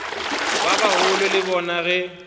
ba bagolo le bona ge